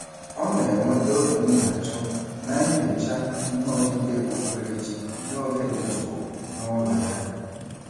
Ọ na-enweta obi ndajụ na nyocha ihe odide okpukperechi n'oge dị jụụ n'ụlọ ya.